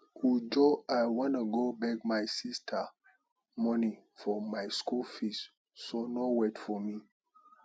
uju i wan go beg my sister money for my school fees so no wait for me